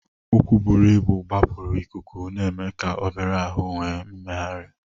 Ụkwụ buru ibu gbapụrụ ikuku, na-eme ka obere ahụ nwee mmegharị.